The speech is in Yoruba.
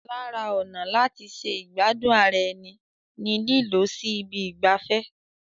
Lara ọ̀nà láti ṣe ìgbádùn ara ẹni ni lílọ sí ibi ìgbafẹ́.